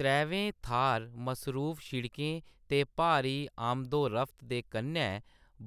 त्रैवै थाह्‌‌‌र मसरूफ सड़कें ते भारी आमदोरफ्त दे कन्नै